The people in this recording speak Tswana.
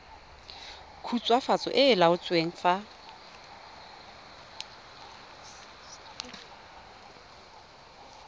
khutswafatso e e laotsweng fa